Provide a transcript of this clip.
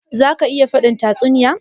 Za ka iya faɗin tatsuniya?